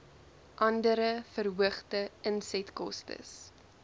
andere verhoogde insetkostes